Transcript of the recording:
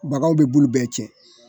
Bagaw be bulu bɛɛ cɛ